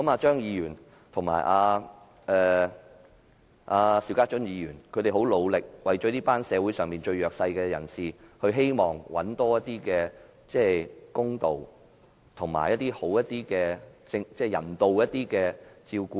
張議員和邵家臻議員很努力，希望為這群社會上最弱勢的人尋求多一點公道，以及獲得較人道的照顧。